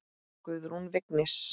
Guðrún Vignis.